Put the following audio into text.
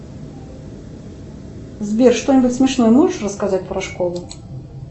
сбер что нибудь смешное можешь рассказать про школу